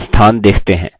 इस स्लाइड पर देखें